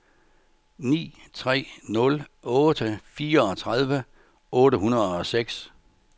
ni tre nul otte fireogtredive otte hundrede og seks